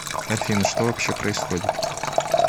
афина что вообще происходит